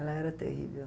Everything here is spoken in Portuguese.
Ela era terrível.